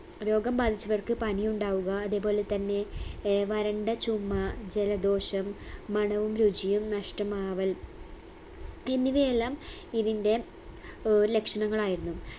രോഗം ബാധിച്ചവർക്ക് പനിയുണ്ടാവുക അതേ പോലെ തന്നെ ഏർ വരണ്ട ചുമ ജലദോഷം മണവും രുചിയും നഷ്ടമാവൽ എന്നിവയെല്ലാം ഇതിന്റെ ഏർ ലക്ഷണങ്ങളായിരുന്നു